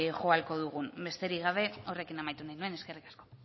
jo ahalko dugun besterik gabe horrekin amaitu nahi nuen eskerrik asko